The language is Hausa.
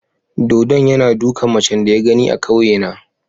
Dodon yana dukan macen da ya gani a kauyena.